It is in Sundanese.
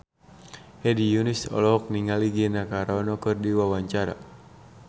Hedi Yunus olohok ningali Gina Carano keur diwawancara